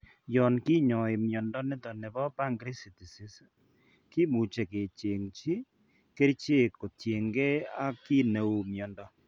Yoon kinyae mnyondo niton nebo pancreatisis, kimuche kechengchi kerichek kotien gee ak ki neuu mnyondo